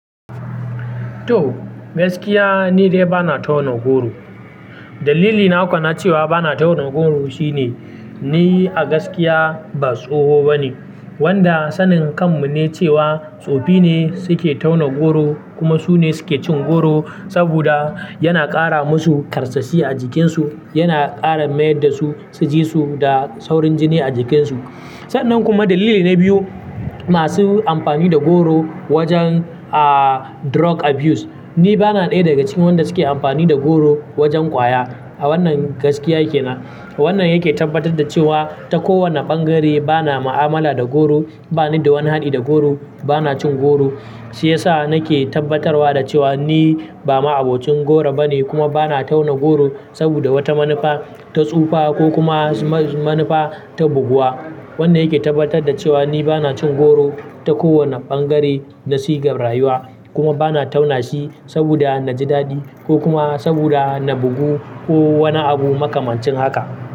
To, gaskiya ni dai ba na tauna goro. Dalili na uku na cewa ba na tauna goro shine ni a gaskiya ba tsoho bane, wanda sanin kanmu ne cewa tsofi ne suke tauna goro kuma su ne suke cin goro saboda yana ƙara musu ƙarsashi a jikinsu, yana ƙara mayar da su sijesu da saurin jini a jikinsu. Sannan kuma dalili na biyu, masu amfani da goro wajen aa drug abuse. Ni bana ɗaya daga cikin wanda suke amfani da goro wajen ƙwaya. A wannan gaskiya yake na. Wannan yake tabbatar da cewa ta kowane ɓangare bana ma'amala da goro, bani da wani haɗi da goro, bana cin goro. Shi yasa nake tabbatarwa da cewa ni ba ma'abocin goro bane kuma bana tauna goro saboda wata manufa ta tsufa ko kuma ma-manufa ta buguwa. Wannan yake tabbatar da cewa ni bana cin goro ta kowane ɓangare na sigar rayuwa kuma bana tauna shi saboda na ji daɗi ko kuma saboda na bugu ko wani abu makamancin haka.